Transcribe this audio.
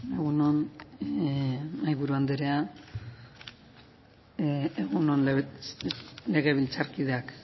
egun on mahaiburu andrea egun on legebiltzarkideak